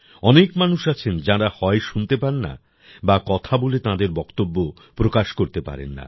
অনেক মানুষ আছেন যাঁরা হয় শুনতে পান না বা কথা বলে তাঁদের বক্তব্য প্রকাশ করতে পারেন না